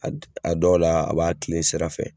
A a dɔw la a b'a kilen sira fɛ.